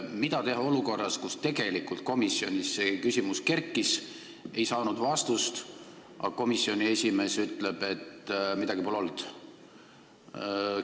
Mida teha olukorras, kus tegelikult komisjonis see küsimus kerkis ja see ei saanud vastust, aga komisjoni esimees ütleb, et midagi sellist pole olnud?